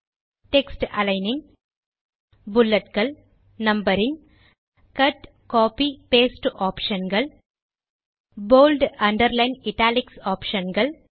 text aligning புல்லட்கள் numbering cut copy paste option கள் boldஅண்டர்லைன் இட்டாலிக்ஸ் ஆப்ஷன் கள்